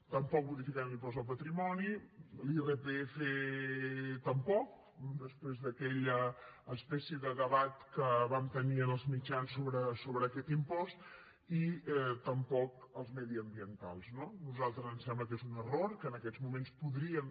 tampoc modificaran l’impost de patrimoni l’irpf tampoc després d’aquella espècie de debat que vam tenir en els mitjans sobre aquest impost i tampoc els mediambientals no a nosaltres ens sembla que és un error que en aquests moments podríem